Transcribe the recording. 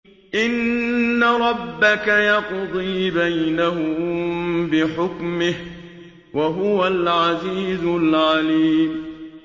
إِنَّ رَبَّكَ يَقْضِي بَيْنَهُم بِحُكْمِهِ ۚ وَهُوَ الْعَزِيزُ الْعَلِيمُ